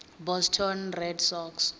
boston red sox